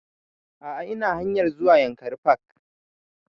A'a ina hanayr zuwa yankari park